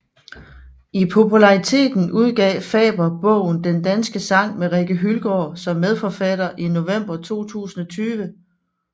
I populariteten udgav Faber bogen Den danske sang med Rikke Hyldgaard som medforfatter i november 2020